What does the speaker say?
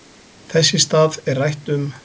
Þess í stað er rætt um